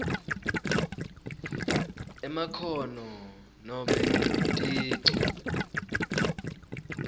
emakhono nobe ticu